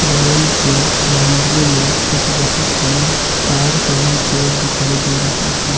भवन के बाउंड्री में एक बहुत बड़ा तार का भी पेड़ दिखाई दे रहा है।